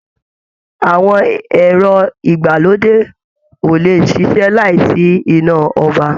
Àwọn ẹrọ ìgbàlódé o le ṣiṣẹ láì sí iná ọba.